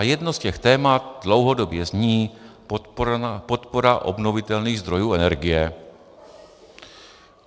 A jedno z těch témat dlouhodobě zní podpora obnovitelných zdrojů energie.